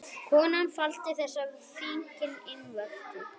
Konan faldi þessi fíkniefni innvortis